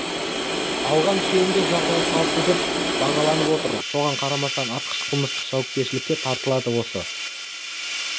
алған үшеуінің де жағдайы қалыпты деп бағаланып отыр соған қарамастан атқыш қылмыстық жауапкершілікке тартылады осы